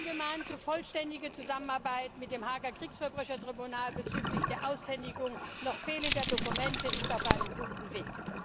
Die angemahnte vollständige Zusammenarbeit mit dem Haager Kriegsverbrechertribunal bezüglich der Aushändigung noch fehlender Dokumente ist auf einem guten Weg.